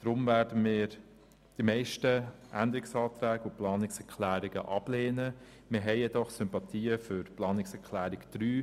Deshalb werden wir die meisten Änderungsanträge und Planungserklärungen ablehnen, doch haben wir Sympathien für die Planungserklärung 3.